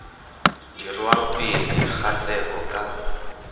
dirwang pele ga tsheko ka